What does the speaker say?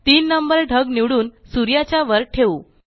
तीन नंबर ढग निवडून सूर्याच्या वर ठेवू